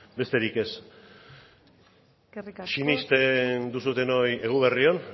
besterik ez sinesten duzuenoi eguberri on